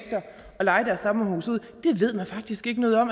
leje deres sommerhuse ud det ved man faktisk ikke noget om